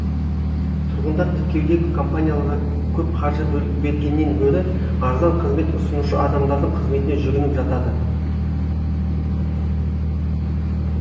тұрғындар тіркеудегі компанияларға көп қаржы бергеннен гөрі арзан қызмет ұсынушы адамдардың қызметіне жүгініп жатады